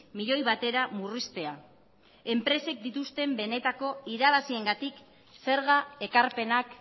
milioi batera murriztea enpresek dituzten benetako irabaziengatik zerga ekarpenak